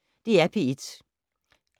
DR P1